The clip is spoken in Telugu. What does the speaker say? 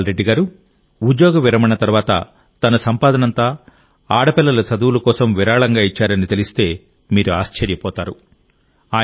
రాంభూపాల్ రెడ్డి గారు ఉద్యోగ విరమణ తర్వాత తన సంపాదనంతా ఆడపిల్లల చదువుల కోసం విరాళంగా ఇచ్చారని తెలిస్తే మీరు ఆశ్చర్యపోతారు